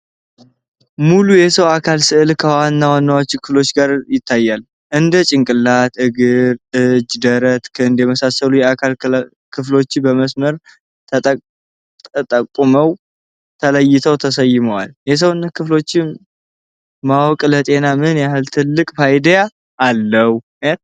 ሙሉ የሰው አካል ስዕል ከዋና ዋናዎቹ ክፍሎች ጋር ይታያል። እንደ ጭንቅላት፣ እጅ፣ እግር፣ ደረትና ክንድ የመሳሰሉት የአካሉ ክፍሎች በመስመሮች ተጠቁመው ተለይተው ተሰይመዋል። የሰውነት ክፍሎችን ማወቅ ለጤና ምን ያህል ትልቅ ፋይዳ አለው?